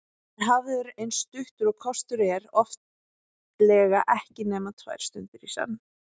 Hann er hafður eins stuttur og kostur er, oftlega ekki nema tvær stundir í senn.